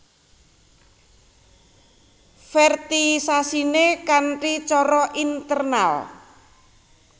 Fertilisasiné kanthi cara internal